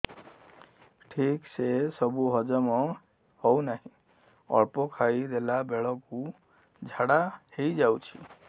ଠିକସେ ସବୁ ହଜମ ହଉନାହିଁ ଅଳ୍ପ ଖାଇ ଦେଲା ବେଳ କୁ ଝାଡା ହେଇଯାଉଛି